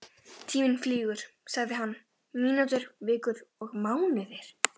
Tíminn flýgur sagði hann, mínútur, vikur og mánuðir.